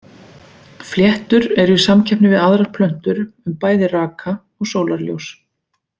Fléttur eru í samkeppni við aðrar plöntur um bæði raka og sólarljós.